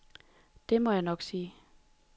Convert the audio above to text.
Det må jeg nok sige.